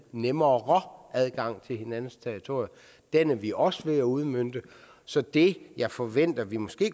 nemmere adgang til hinandens territorier den er vi også ved at udmønte så det jeg forventer at vi måske